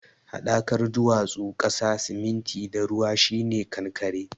Haɗakar duwatsu, ƙasa, siminti da ruwa shi ne kankare.